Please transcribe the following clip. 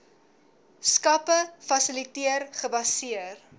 skappe fasiliteer gebaseer